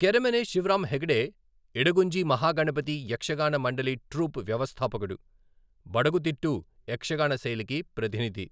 Keremane Shivarama Hegde, Idagunji Mahaganapati Yakshagana Mandali troupe వ్యవస్థాపకుడు, బడగుతిట్టు యక్షగాన శైలికి ప్రతినిధి.